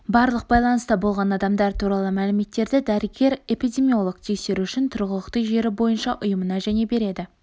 барлық байланыста болған адамдар туралы мәліметтерді дәрігер-эпидемиолог тексеру үшін тұрғылықты жері бойынша ұйымына және береді